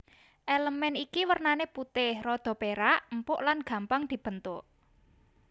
Elemen iki wernané putih rada perak empuk lan gampang dibentuk